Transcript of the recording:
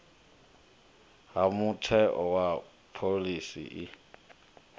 ha mutheo wa phoḽisi i